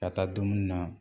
Ka taa dumuni na